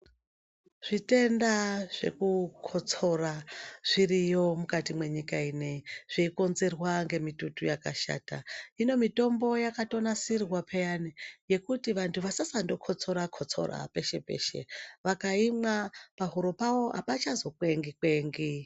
Zvitenda zvekukotsora zviriyo mukati mwenyika ino iyi zveikonzerwa ngemitutu yakashata kune mitombo yakatonasirwa peyani yekuti vantu vasasangokotsora peshe peshe vakaimwa pahuro pavo apachazo kwengi kwengi .